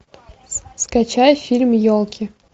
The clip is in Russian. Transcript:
скачай фильм елки